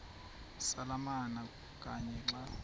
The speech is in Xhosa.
samalama kanye xa